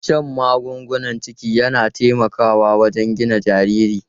Shan magungunan ciki yana taimakawa wajen gina jariri.